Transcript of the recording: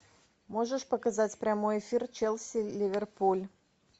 можешь показать прямой эфир челси ливерпуль